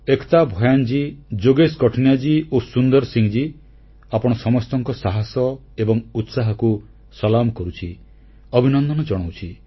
ଏକତା ଭୟାନ୍ ଯୋଗେଶ କଠୁନିଆ ଓ ସୁନ୍ଦର ସିଂ ଆପଣ ସମସ୍ତଙ୍କ ସାହସ ଏବଂ ଉତ୍ସାହକୁ ସଲାମ କରୁଛି ଅଭିନନ୍ଦନ ଜଣାଉଛି